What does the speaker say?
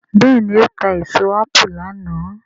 béèni o ta èso apu lànà.